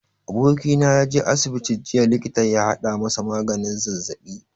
Abokina ya je asibiti jiya likita ya haɗa masa maganin zazzaɓi.